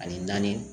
Ani naani